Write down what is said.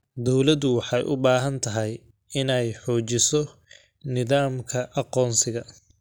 Dawladdu waxay u baahan tahay inay xoojiso nidaamka aqoonsiga.